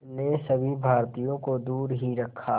ने सभी भारतीयों को दूर ही रखा